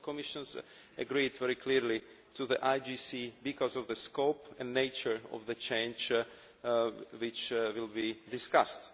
The Commission has agreed very clearly to the IGC because of the scope and nature of the change which will be discussed.